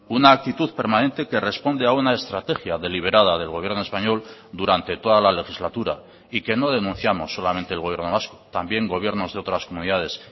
una actitud permanente que responde a una estrategia deliberada del gobierno español durante toda la legislatura y que no denunciamos solamente el gobierno vasco también gobiernos de otras comunidades